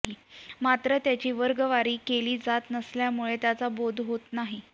मात्र त्याची वर्गवारी केली जात नसल्यामुळे त्याचा बोध होत नाही